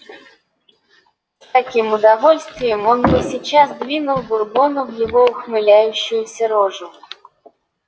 с каким удовольствием он бы сейчас двинул бурбону в его ухмыляющуюся рожу